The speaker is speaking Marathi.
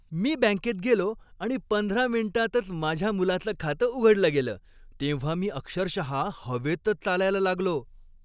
मी बँकेत गेलो आणि पंधरा मिनिटांतच माझ्या मुलाचं खातं उघडलं गेलं, तेव्हा मी अक्षरशहा हवेतच चालायला लागलो.